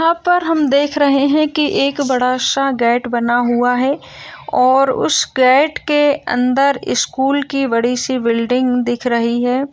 यहाँ पर हम देख रहे हैं कि यहाँ बड़ा-सा गेट बना हुआ है| और उस गेट के अंदर स्कूल की बड़ी-सी बिल्डिंग दिख रही है।